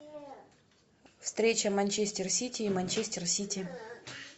встреча манчестер сити и манчестер сити